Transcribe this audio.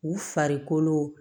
U farikolo